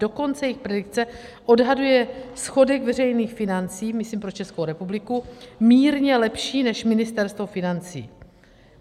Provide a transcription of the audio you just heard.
Dokonce jejich predikce odhaduje schodek veřejných financí - myslím pro Českou republiku - mírně lepší než Ministerstvo financí.